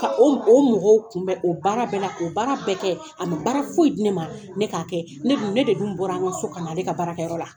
Ka o mɔ o mɔgɔw kunbɛ bɛ, o baara bɛɛ la, o baara bɛɛ kɛ, a bɛ baara foyi di ne ma, ne k'a kɛ, ne dun, ne de dun bɔra, an ka so ka na ale ka baarakɛyɔrɔ la.